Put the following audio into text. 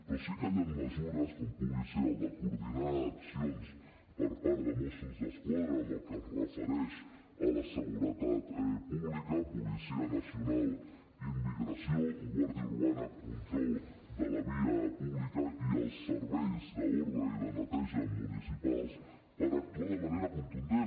però sí que hi han mesures com pugui ser la de coordinar accions per part de mossos d’esquadra en el que es refereix a la seguretat pública policia nacional immigració guàrdia urbana control de la via pública i els serveis d’ordre i de neteja municipals per actuar de manera contundent